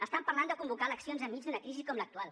estan parlant de convocar eleccions enmig d’una crisi com l’actual